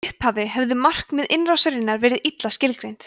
í upphafi höfðu markmið innrásarinnar verið illa skilgreind